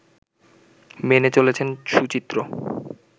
মেনে চলেছেন সুচিত্র